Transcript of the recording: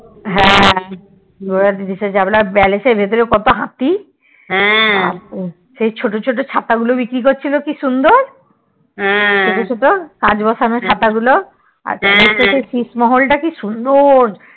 ঘোড়ার পিছনের দিকে যে চাপল আর Palace এর পিছে কত হাতি সেই ছোট ছোট ছাতা গুলো বিক্রি করছিলো কি সুন্দর ছোট ছোট কাচ বসানো ছাতা গুলো আর Palace থেকে সিটমহল টা কি সুন্দর